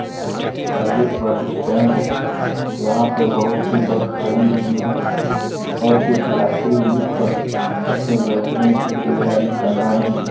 यह private bus stand है यहां पे बहुत सी बस खड़ी हुई हैं और कुछ यात्री भी बस में बैठने की तैयारी कर रहे हैं।